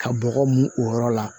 Ka bɔgɔ mun o yɔrɔ la